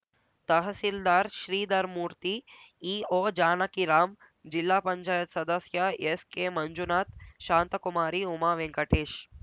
ತಹಸೀಲ್ದಾರ್‌ ಶ್ರೀಧರ್ ಮೂರ್ತಿ EO ಜಾನಕೀರಾಮ್‌ ಜಿಲ್ಲಾ ಪಂಚಾಯತ್ ಸದಸ್ಯ ಎಸ್‌ಕೆಮಂಜುನಾಥ್‌ ಶಾಂತಕುಮಾರಿ ಉಮಾ ವೆಂಕಟೇಶ್‌